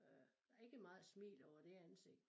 Øh der ikke meget smil over det ansigt